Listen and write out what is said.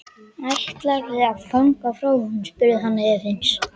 Ætlarðu að ganga frá honum? spurði hann efins.